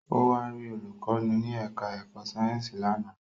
Ó wá rí olùkọ́ni ní ẹ̀ká ẹ̀kọ́ Sáyẹ̀nsì lánàá